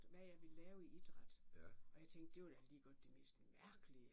Hvad jeg ville lave i idræt og jeg tænkte det var da lige godt det mest mærkelige